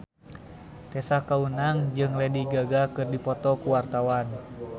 Tessa Kaunang jeung Lady Gaga keur dipoto ku wartawan